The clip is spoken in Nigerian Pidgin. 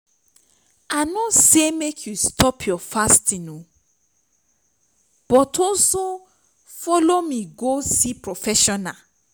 i no say make you stop your fasting but also follow me go see professional